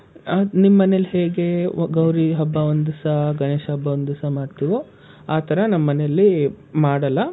ನಿಮ್ ಮನೆಯಲಿ ಹೇಗೆ ಗೌರಿ ಹಬ್ಬ ಒಂದ್ ದಿವ್ಸ ಗಣೇಶ ಹಬ್ಬ ಒಂದ್ ದಿವ್ಸ ಮಾಡ್ತೀವೋ ಆತರ ನಮ್ ಮನೇಲಿ ಮಾಡಲ್ಲ.